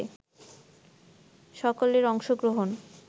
সকলের অংশগ্রহণ